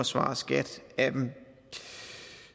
svare skat af dem